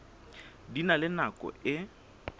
di na le nako e